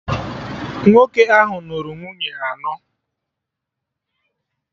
Nwoke ahụ nụrụ nwunye anọ